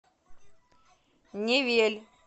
невель